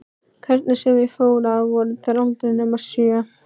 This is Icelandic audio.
Hvernig sem ég fór að voru þær aldrei nema sjö.